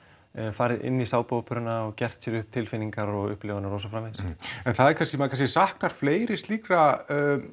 farið inn í sápuóperuna og gert sér upp tilfinningar og upplifanir og svo framvegis en maður kannski maður kannski saknar fleiri slíkra